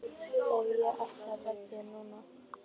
Ef ég ætti að veðja núna?